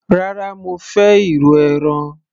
rárá, mo fẹ́ irú ẹran